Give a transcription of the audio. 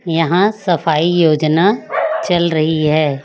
यहां सफाई योजना चल रही है।